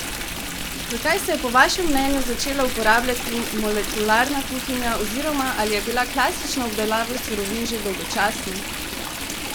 Zakaj se je po vašem mnenju začela uporabljati molekularna kuhinja oziroma ali je bila klasična obdelava surovin že dolgočasna?